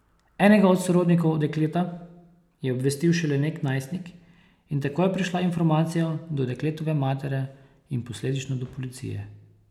Enega od sorodnikov dekleta je obvestil šele nek najstnik in tako je prišla informacija do dekletove matere in posledično do policije.